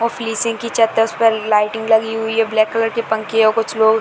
पर लाइटिंग लगी है ब्लैक कलर की पंखीहै कुछ लोग --